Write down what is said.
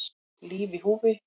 Líf í húfi